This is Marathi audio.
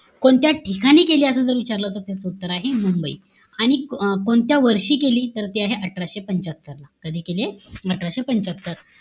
कोणत्या ठिकाणी केली, असं जर विचारलं तर त्याच उत्तर आहे, मुंबई. आणि अं कोणत्या वर्षी केली? तर ती आहे, अठराशे पंच्यात्तर ला. कधी केलीय? अठराशे पंच्यात्तर ला.